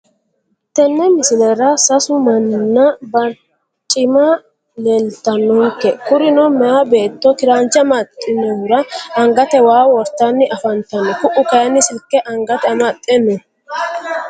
Tene misilera sasu maninna barcimma leelitanonke kurino meyaa beeto kiranche amaxewuhura angate waa wortani afantano ku`u kayini silke angate amaxe no.